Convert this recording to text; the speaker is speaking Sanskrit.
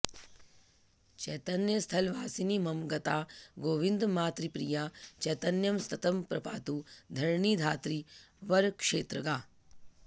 चैतन्यस्थलवासिनी मम गता गोविन्दमातृप्रिया चैतन्यं सततं प्रपातु धरणी धात्री वरक्षेत्रगा